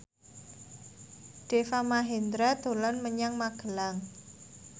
Deva Mahendra dolan menyang Magelang